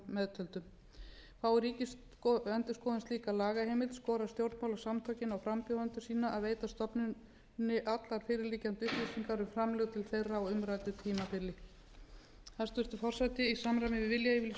að báðum árum meðtöldum fái ríkisendurskoðun slíka lagaheimild skora stjórnmálasamtökin á frambjóðendur sína að veita stofnuninni allar fyrirliggjandi upplýsingar um framlög til þeirra á umræddu tímabili hæstvirtur forseti í samræmi við viljayfirlýsingu